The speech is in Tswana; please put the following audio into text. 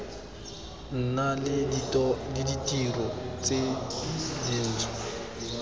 nna le ditiro tse dintšhwa